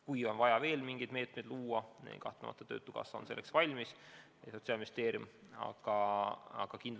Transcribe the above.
Kui on vaja veel mingeid meetmeid luua, on töötukassa ja Sotsiaalministeerium selleks valmis.